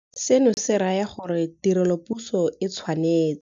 Seno se raya gore tirelopuso e tshwanetse.